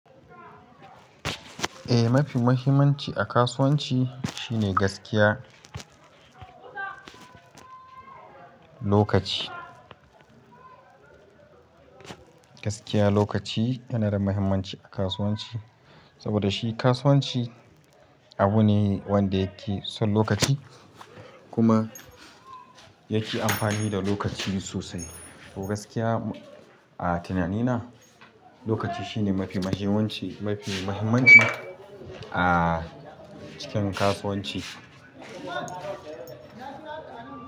Eh, mafi muhimmanci a kasuwanci shine gaskiya, lokaci. Gaskiya lokaci yana da muhimmanci a kasuwanci, saboda shi kasuwanci abu ne wanda yake son lokaci kuma yake amfani da lokaci sosai. To gaskiya a tunanina lokaci shine mafi mahimmanci, mafi muhimmanci a cikin kasuwanci.